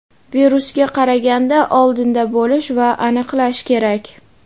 virusga qaraganda oldinda bo‘lish va aniqlash kerak.